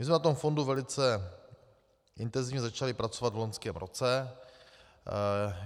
My jsme na tom fondu velice intenzivně začali pracovat v loňském roce.